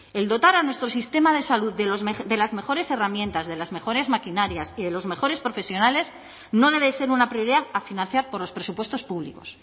el dotar a nuestro sistema de salud de las mejores herramientas de las mejores maquinarias y de los mejores profesionales no debe ser una prioridad a financiar por los presupuestos públicos